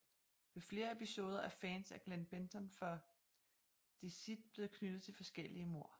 Ved flere episoder er fans af Glen Benton fra Deicide blevet knyttet til forskellige mord